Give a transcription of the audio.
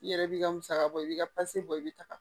I yɛrɛ b'i ka musaka bɔ i b'i ka bɔ i bɛ taga